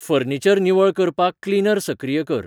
furniture निवळ करपाक cleaner सक्रिय कर